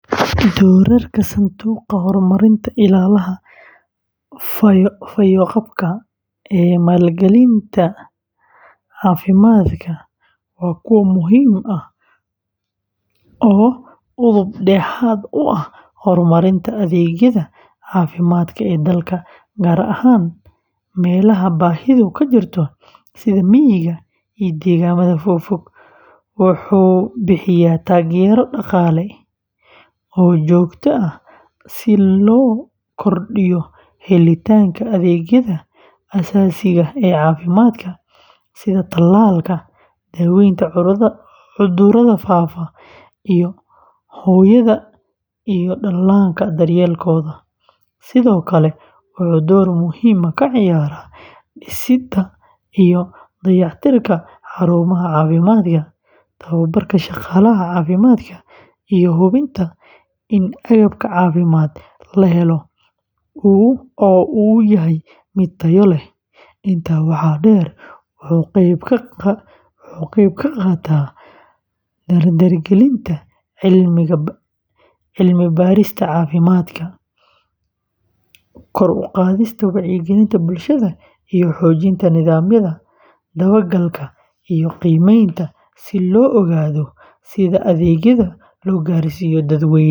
Doorarka Sanduuqa Horumarinta Illaaha Fayoqabka ee maalgelinta caafimaadka waa kuwo muhiim ah oo udub dhexaad u ah horumarinta adeegyada caafimaad ee dalka, gaar ahaan meelaha baahidu ka jirto sida miyiga iyo deegaannada fog, wuxuu bixiyaa taageero dhaqaale oo joogto ah si loo kordhiyo helitaanka adeegyada aasaasiga ah ee caafimaadka, sida talaalka, daaweynta cudurrada faafa, iyo hooyada iyo dhallaanka daryeelkooda. Sidoo kale, wuxuu door muhiim ah ka ciyaaraa dhisidda iyo dayactirka xarumaha caafimaadka, tababarka shaqaalaha caafimaadka, iyo hubinta in agabka caafimaad la helo oo uu yahay mid tayo leh. Intaa waxaa dheer, wuxuu ka qeyb qaataa dardargelinta cilmi-baarista caafimaadka, kor u qaadista wacyigelinta bulshada, iyo xoojinta nidaamyada dabagalka iyo qiimaynta si loo ogaado sida adeegyada loo gaarsiiyo dadweynaha.